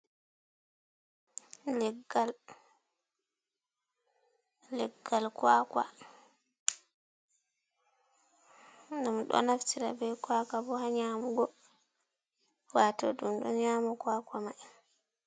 Leggal, leggal kwaka ɗum ɗo naftira bei kwaka bo ha nyamugo wato ɗum ɗo nyama kwaka mai.